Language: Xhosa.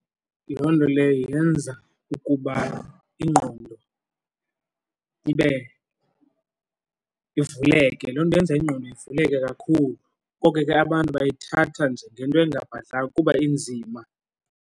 Loo nto leyo yenza ukuba ingqondo ibe ivuleke, loo nto yenza ingqondo ivuleke kakhulu. Koko ke abantu bayithatha njengento engabhadlanga kuba inzima.